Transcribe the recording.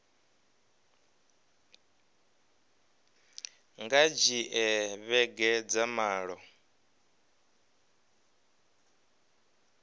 nga dzhia vhege dza malo